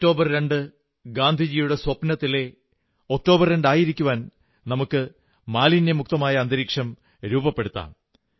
October 2 ഗാന്ധിജിയുടെ സ്വപ്നത്തിലെ October 2 ആയിരിക്കുവാൻ നമുക്ക് മാലിന്യമുക്തമായ അന്തരീക്ഷം രൂപപ്പെടുത്താം